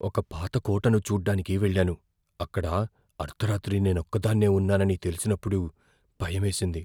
ఒక పాత కోటను చూడ్డానికి వెళ్ళాను, అక్కడ అర్ధరాత్రి నేనొక్కదాన్నే ఉన్నానని తెలిసినప్పుడు భయమేసింది.